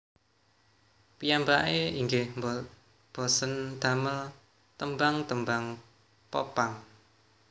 Piyambake inggih bosèn damel tembang tembang Pop punk